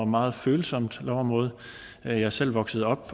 meget følsomt lovområde jeg er selv vokset op